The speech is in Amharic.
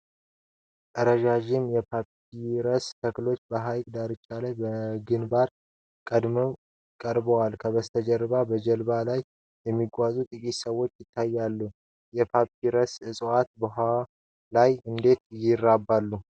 ረዣዥም የፓፒረስ ተክሎች በሐይቅ ዳርቻ ላይ በግንባር ቀደምትነት ቀርበዋል። ከበስተጀርባ በጀልባ ላይ የሚጓዙ ጥቂት ሰዎች ይታያሉ። የፓፒረስ ዕፅዋት በውኃው ላይ እንዴት ይራባሉ?